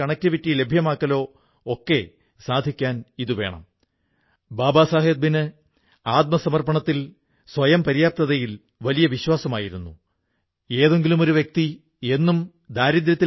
സുഹൃത്തുക്കളേ ഇവിടത്തെ ആളുകൾ പുതിയതായി എന്തെങ്കിലും ചെയ്യാൻ തയ്യാറായപ്പോൾ ജോലിയുടെ കാര്യത്തിൽ റിസ്കെടുക്കാൻ തയ്യാറായപ്പോൾ സ്വയം അതിനായി സമർപ്പിച്ചപ്പോഴാണ് പുൽവാമയുടെ ഈ വ്യത്യസ്തത തിരിച്ചറിയപ്പെട്ടത്